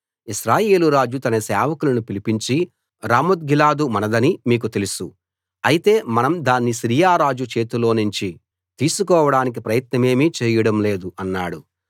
ఇశ్రాయేలు రాజు తన సేవకులను పిలిపించి రామోత్గిలాదు మనదని మీకు తెలుసు అయితే మనం దాన్ని సిరియా రాజు చేతిలోనుంచి తీసుకోడానికి ప్రయత్నమేమీ చేయడం లేదు అన్నాడు